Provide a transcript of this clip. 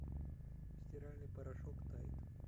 стиральный порошок тайд